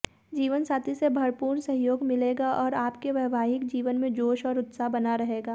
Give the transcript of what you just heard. जीवनसाथी से भरपूर सहयोग मिलेगा और आपके वैवाहिक जीवन में जोश और उत्साह बना रहेगा